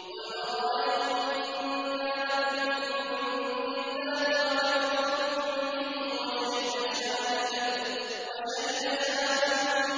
قُلْ أَرَأَيْتُمْ إِن كَانَ مِنْ عِندِ اللَّهِ وَكَفَرْتُم بِهِ وَشَهِدَ شَاهِدٌ مِّن بَنِي إِسْرَائِيلَ عَلَىٰ